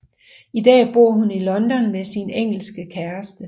I dag bor hun i London med sin engelske kæreste